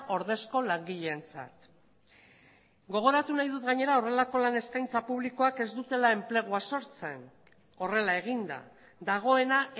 ordezko langileentzat gogoratu nahi dut gainera horrelako lan eskaintza publikoak ez dutela enplegua sortzen horrela eginda dagoena